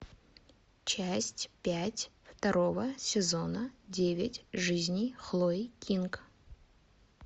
часть пять второго сезона девять жизней хлои кинг